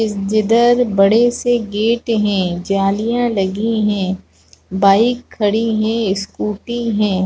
इस जिधर बड़े से गेट है जालियाँ लगी है बाइक जिसमें खड़ी है स्कूटी है।